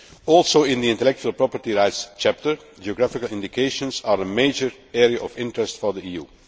Also, in the intellectual property rights chapter, geographical indications are a major area of interest for the